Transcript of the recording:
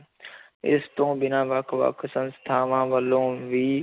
ਇਸ ਤੋਂ ਬਿਨਾਂ ਵੱਖ ਵੱਖ ਸੰਸਥਾਵਾਂ ਵੱਲੋਂ ਵੀ,